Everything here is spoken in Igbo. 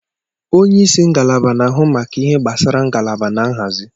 Onye isi ngalaba na-ahụ maka ihe gbasara ngalaba na nhazi.